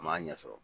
A m'a ɲɛ sɔrɔ